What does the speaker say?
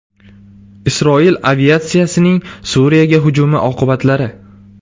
Isroil aviatsiyasining Suriyaga hujumi oqibatlari.